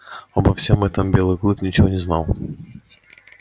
обо всём этом белый клык ничего не знал